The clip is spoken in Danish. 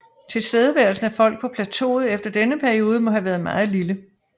Tilstedeværelsen af folk på plateauet efter denne periode må have været meget lille